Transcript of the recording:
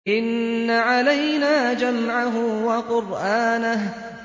إِنَّ عَلَيْنَا جَمْعَهُ وَقُرْآنَهُ